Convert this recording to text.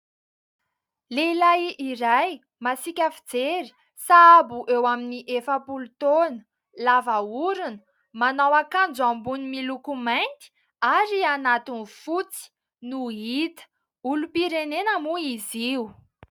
Lehilahy iray masika fijery, sahabo eo amin'ny efapolo toana, lava orona, manao akanjo ambony miloko mainty ary anatin'ny fotsy no hita; olom-pirenena moa izy io.